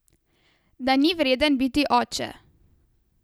Da ni vreden biti oče.